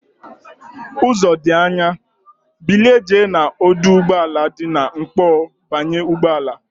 Uzo di Anya, bilie jee na oduugboala di na nkpo banye ugboala!